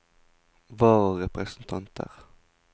vararepresentanter